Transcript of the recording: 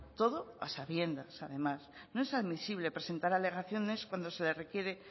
todo a sabiendas además no es admisible presentar alegaciones cuando se le requiere